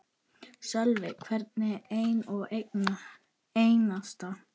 Sölvi: Hvern einn og einasta?